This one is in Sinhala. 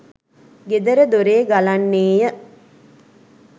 ගෙදර දොරේ ගලන්නේ ය.